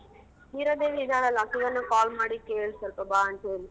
ಹೀರಾದೇವಿ ಇದಾಳಲ್ಲ ಆಕೆಗಾನು call ಮಾಡಿ ಕೇಳು ಸೊಲ್ಪ ಬಾ ಅಂತ್ ಹೇಳಿ.